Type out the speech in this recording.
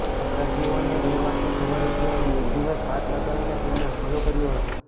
અપરાધીઓને એ વાતની ખબર હતી અને એક દિવસ ઘાત લગાવીને તેમણે હુમલો કર્યો હતો